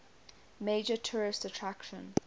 major tourist attraction